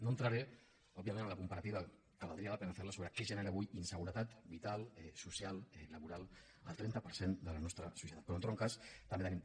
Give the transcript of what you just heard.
no entraré òbviament a la comparativa que valdria la pena fer la sobre què genera avui inseguretat vital social laboral al trenta per cent de la nostra societat però en tot cas també en tenim